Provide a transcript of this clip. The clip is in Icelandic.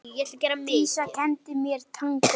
Dísa kenndi mér tangó.